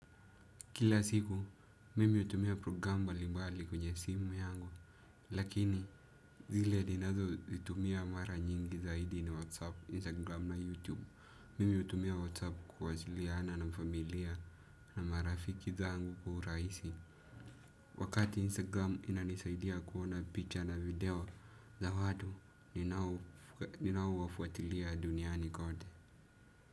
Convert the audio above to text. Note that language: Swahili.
Kila siku, mimi utumia program mbalimbali kwenye simu yangu, lakini zile ninazo itumia mara nyingi zaidi ni Whatsapp, Instagram na Youtube. Mimi hutumia Whatsapp kuwasiliana na familia na marafiki zangu kwa urahisi. Wakati Instagram inanisaidia kuona picha na video za watu, ninaowafuatilia duniani kote.